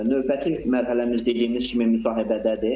Növbəti mərhələmiz dediyimiz kimi müsahibədədir.